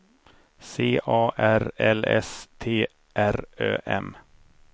C A R L S T R Ö M